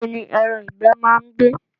Ibo ni ẹran ìgbẹ́ máa ń gbé?